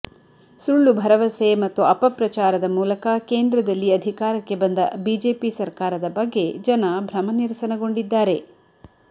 ಸುಳ್ಳು ಭರವಸೆ ಮತ್ತು ಅಪಪ್ರಚಾರದ ಮೂಲಕ ಕೇಂದ್ರದಲ್ಲಿ ಅಧಿಕಾರಕ್ಕೆ ಬಂದ ಬಿಜೆಪಿ ಸರ್ಕಾರದ ಬಗ್ಗೆ ಜನ ಭ್ರಮನಿರಸನಗೊಂಡಿದ್ದಾರೆ